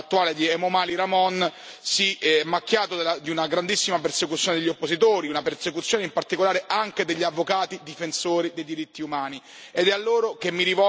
In particolare, il governo attuale di Emomali Rahmon si è macchiato di una grandissima persecuzione degli oppositori, una persecuzione in particolare anche degli avvocati difensori dei diritti umani.